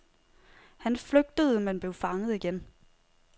Han flygtede, men blev fanget igen.